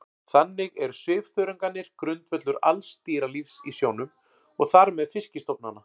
Þannig eru svifþörungarnir grundvöllur alls dýralífs í sjónum og þar með fiskistofnanna.